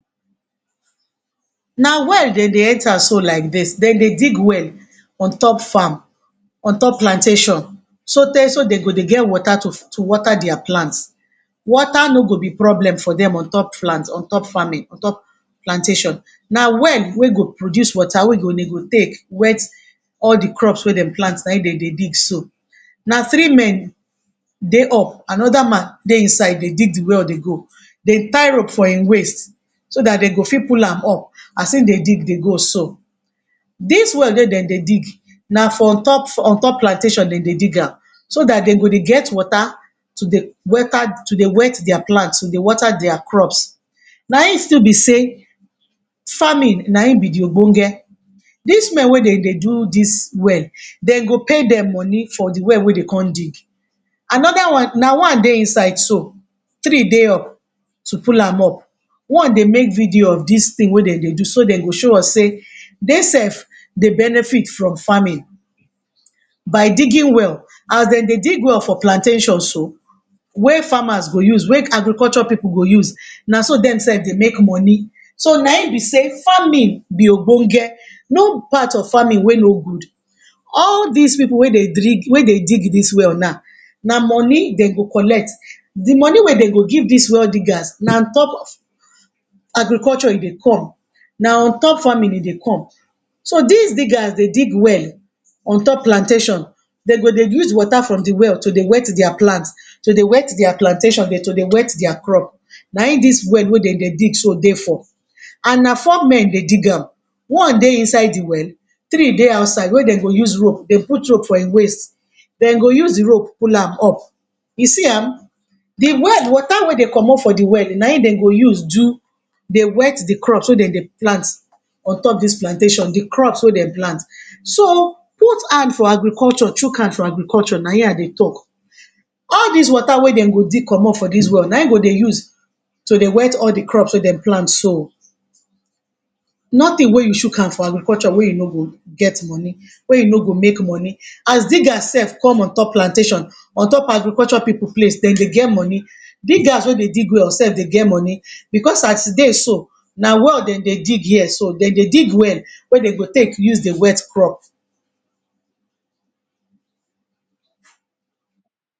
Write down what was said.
Na well dey dey enter so like dis. Dey dey dig well on top farm on top plantation so tey so dey go dey get water to water dia plants. Water no go be problem for dem on top plant on top farming on top plantation. Na well wey go produce water we dem go take wet all de crops wey dem plant na im dey dey dig so. Na three men dey up, another man dey inside dey dig de well dey go. Dey tie rope for im waist so dat dey go fit pull am up as im dey dig dey go so. Dis well wey dem dey dig na for on top on top plantation dey dey dig am so dat dem go dey get water to dey water to dey wet dia plants dey water dia crops na im still be sey farming na im be de. Dis Men wey dem dey do dis well, dem go pay dem money for de well wey dey come dig. Another one, na one dey inside too, three dey up to pull am up. One dey make video of dis thing wey dem dey do so dem go show us sey, dey self dey benefit from farming by digging well, as dey dey dig well for plantation so, wey farmers go use wey agriculture pipu go use, na so dem self dey make money so na im be sey farming be, no part of farming wey no good. All dis pipu wey dey drig wey dey dig dis well now, na money dey go collect, de money wey dey go give dis well diggers na on top of agriculture e dey con na on top farming e dey con. So dis diggers dey dig well on top plantation dey go dey use water from de well to dey wet dia plants dey wet dia plantation to dey wet dia crops na im dis well wey dey dey dig so dey for and na four men dey dig am one dey inside de well, three dey outside wey dem go use rope, dey put rope for im waist, dem go use de rope pull am up, you see am, de well water wey dey comot from de well na im dey go use do dey wet de crops so dey no plants on top dis plantation, de crops wey dey plant so put hand for agriculture, chook hand for agriculture na im I dey talk. All dis water wey dem go dig comot for dis well na im dey go use to dey wet all de crops wey dem plant so, nothing wey you chook hand for agriculture wey you no go get money, wey you no go make money as diggers self con on top plantation on top agriculture pipu place dem dey get money, diggers wey dey dig well self dey get money because as e dey so na well dem dey dig here so. Dem dey dig well wey dem go take use dey wet crops